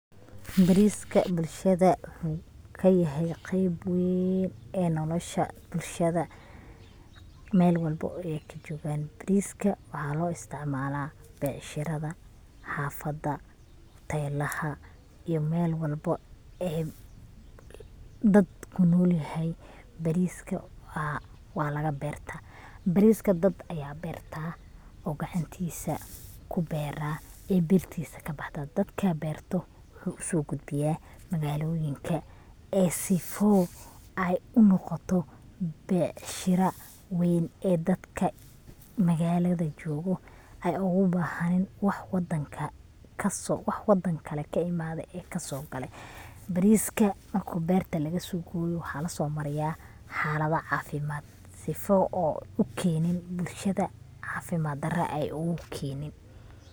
Bariska bulshada wuxuu kayahay qeb weyn ee nolosha bulshada, Mel walbo oy ay kajogaan, bariska waxa loo isticmaala becshirada, xafada hotelaha iyo Mel walbo oo dadka kunol yahay, bariska waa laga beerta, bariska dad aya beerta oo gacantiisa kubeera ee beertisa kabaxda dadka beerto wuxuu uso gudbiya magaaloyinka ee sifo ay unoqoto becshira weyn ee dadka magaalada jogoo ay ogu bahanin wax wadan kale ka imaade ee kaaso gale, bariska markii beerta lagasoo goyo waxa lasoomariya xalada caafimad sifo oo u keenin bulshada caafimad dara ogu keenin